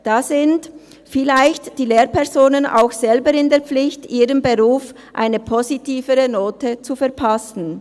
Da sind vielleicht die Lehrpersonen auch selber in der Pflicht, ihrem Beruf eine positivere Note zu verpassen.